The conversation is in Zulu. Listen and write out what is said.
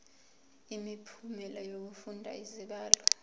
imiphumela yokufunda izibalo